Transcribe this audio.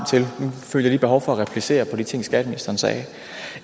til jeg behov for at replicere efter de ting skatteministeren sagde